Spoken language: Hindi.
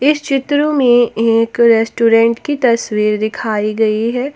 इस चित्र में एक रेस्टोरेंट की तस्वीर दिखाई गई है।